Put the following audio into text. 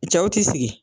Cɛw ti sigi